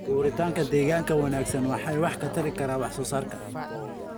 Abuuritaanka deegaan wanaagsan ayaa wax ka tari karta wax soo saarka.